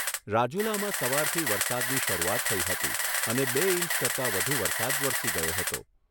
રાજુલામાં સવારથી વરસાદની શરૂઆત થઈ હતી અને બે ઇંચ કરતાં વધુ વરસાદ વરસી ગયો હતો.